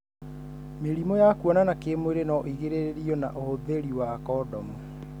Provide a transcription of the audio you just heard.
Mĩrimũ ya kũonana kĩmwirĩ no ĩgirĩrĩrio na ũhũthirĩ wa kondomu.